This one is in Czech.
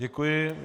Děkuji.